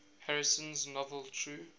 harrison's novel true